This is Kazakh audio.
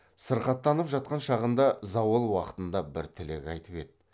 сырқаттанып жатқан шағында зауал уақытында бір тілек айтып еді